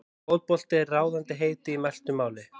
Fótbolti er ráðandi heiti í mæltu máli.